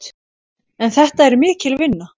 En þetta er mikil vinna.